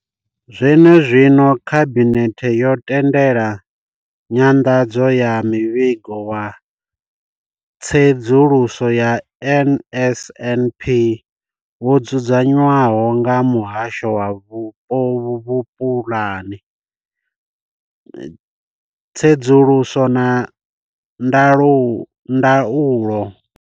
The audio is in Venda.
Zwenezwino khabinethe yo tendela nyanḓadzo ya muvhigo wa tsedzuluso ya NSNP wo dzudzanywaho nga muhasho wa vhupulani tsedzuluso na ndaulo.